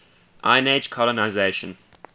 iron age colonisation